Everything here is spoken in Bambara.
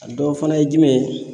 A dɔ fana ye jumɛn ye